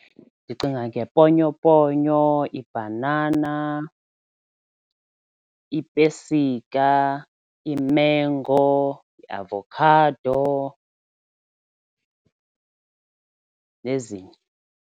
Ndicinga ngeponyoponyo, ibhanana, iipesika, iimengo, iavokhado nezinye.